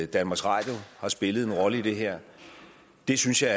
danmarks radio har spillet en rolle i det her det synes jeg